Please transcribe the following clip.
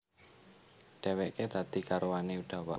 Dhèwèké dadi garwané Udawa